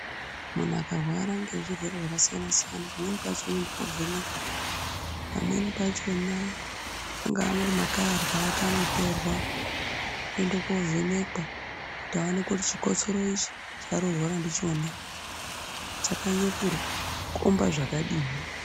Munhu akarwara ngezvirwere zvakasiyana-siyana, pamweni pacho unoende kovhenekwa, pamweni pachona, angaa makararwa ake anotorwa oende kovhenekwa kuti vaone kuti chikotsoro ichi chaari kurwara ndichona chakanyanya kukomba zvakadini.